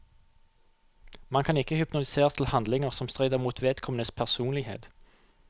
Man kan ikke hypnotiseres til handlinger som strider mot vedkommendes personlighet.